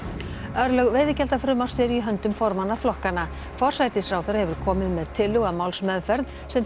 örlög veiðigjaldafrumvarps eru í höndum formanna flokkanna forsætisráðherra hefur komið með tillögu að málsmeðferð sem